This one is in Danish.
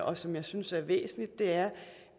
og som jeg synes er væsentligt er